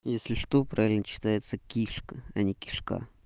если что правильно читается кишка а не кишка